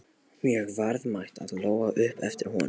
Mjög verðmæt, át Lóa upp eftir honum.